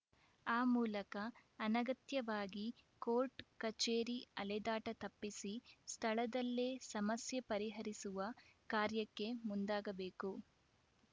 ಆ ಮೂಲಕ ಅನಗತ್ಯವಾಗಿ ಕೋರ್ಟ್ ಕಚೇರಿ ಅಲೆದಾಟ ತಪ್ಪಿಸಿ ಸ್ಥಳದಲ್ಲೇ ಸಮಸ್ಯೆ ಪರಿಹರಿಸುವ ಕಾರ್ಯಕ್ಕೆ ಮುಂದಾಗಬೇಕು